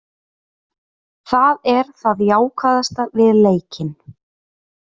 Það er það jákvæðasta við leikinn.